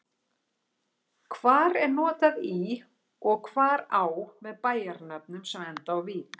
Hvar er notað í og hvar á með bæjarnöfnum sem enda á-vík?